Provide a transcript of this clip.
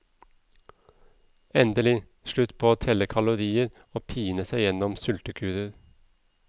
Endelig, slutt på å telle kalorier og pine seg gjennom sultekurer.